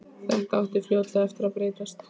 Þetta átti fljótlega eftir að breytast.